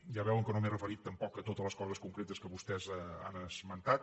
ja veuen que no m’he referit tampoc a totes les coses concretes que vostès han esmentat